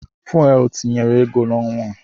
Fuwel tinyere ego n'ọnwa a.